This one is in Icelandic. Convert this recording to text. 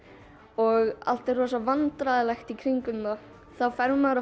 og allt er rosa vandræðalegt í kringum mann þá fer maður